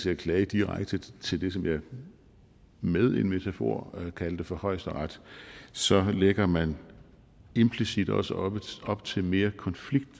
at klage direkte til det som jeg med en metafor kaldte for højesteret så lægger man implicit også op op til mere konflikt